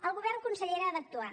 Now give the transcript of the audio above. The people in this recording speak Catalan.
el govern consellera ha d’actuar